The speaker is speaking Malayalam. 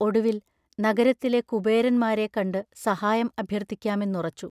ഒടുവിൽ, നഗരത്തിലെ കുബേരന്മാരെ കണ്ടു സഹായം അഭ്യർത്ഥിക്കാമെന്നുറച്ചു.